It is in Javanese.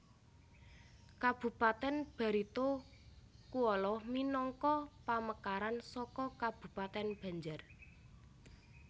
Kabupatèn Barito Kuala minangka pamekaran saka Kabupatèn Banjar